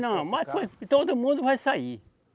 Não, mas todo mundo vai sair.